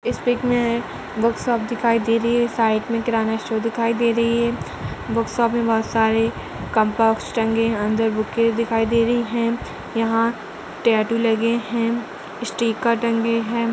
इस पिक मे book shop दिखाई दे रही हैं साइड मे किराना स्टोर दिखाई दे रही है। बुक शॉप बोहोत सारे टंगे अंदर बुके दिखाई दे रही हैं। यहाँ टैटू लगे हैं स्टीकर टंगे हैं।